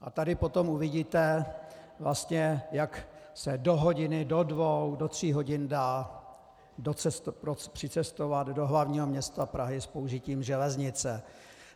A tady potom uvidíte vlastně, jak se do hodiny, do dvou do tří hodin dá přicestovat do hlavního města Prahy s použitím železnice.